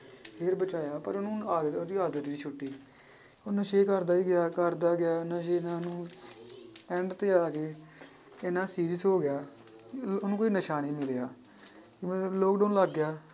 ਫਿਰ ਬਚਾਇਆ ਪਰ ਉਹਨੂੰ ਆਦ~ ਉਹਦੀ ਆਦਤ ਨੀ ਸੁੱਟੀ ਉਹ ਨਸ਼ੇ ਕਰਦਾ ਹੀ ਗਿਆ ਕਰਦਾ ਗਿਆ end ਤੇ ਆ ਕੇ ਇੰਨਾ serious ਹੋ ਗਿਆ ਉਹਨੂੰ ਕੋਈ ਨਸ਼ਾ ਨੀ ਮਿਲਿਆ ਮਤਲਬ lockdown ਲੱਗ ਗਿਆ।